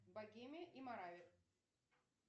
богемия и моравия